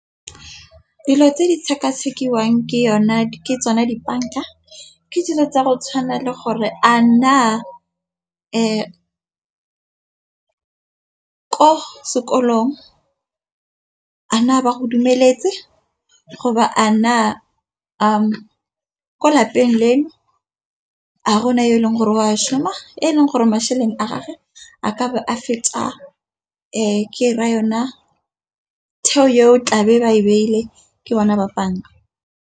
Dilo tse di sekasekiwang ke yone ke tsona dibanka. Ke dilo tsa go tshwana le gore a na, ko sekolong a na a ba go dumeletse go ba a na ko lapeng le a gona yo eleng gore o a šhoma. Eleng gore masheleng a gage a kabe a feta ke ra yona theo yo tlabe ba e beile ke bona ba banka.